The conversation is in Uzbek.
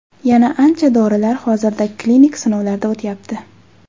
Yana ancha dorilar hozirda klinik sinovlarda o‘tyapti.